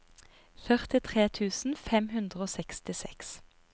førtitre tusen fem hundre og sekstiseks